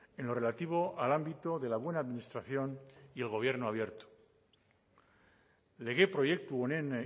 en lo relativo al ámbito de la buena administración y el gobierno abierto lege proiektu honen